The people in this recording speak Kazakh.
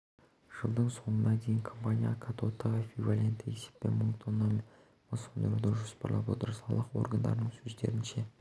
жылдың соңына дейін компания катодтық эквивалентті есеппен мың тонна мыс өндіруді жоспарлап отыр салық органдарының сөздерінше